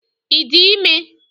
Ị dị ime?